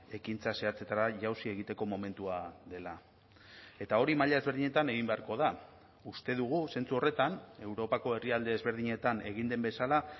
ekintza zehatzetara jauzi egiteko momentua dela eta hori maila ezberdinetan egin beharko da uste dugu zentzu horretan europako herrialde ezberdinetan egin den bezala